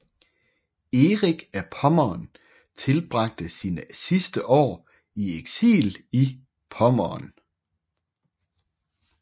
Erik af Pommern tilbragte sine sidste år i eksil i Pommern